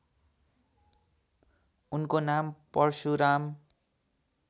उनको नाम परशुराम